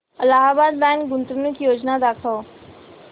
Allahabad bank गुंतवणूक योजना दाखव